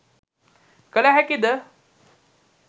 කළ හැකි ද?